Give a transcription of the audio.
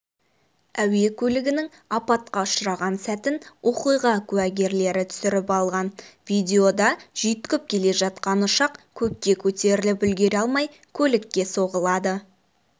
әуе көлігінің апатқа ұшыраған сәтін оқиғакуәгерлері түсіріп алған видеода жүйткіп келе жатқан ұшақ көкке көтеріліп үлгере алмай көлікке соғылады